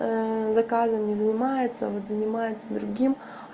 заказами занимается вот занимается другим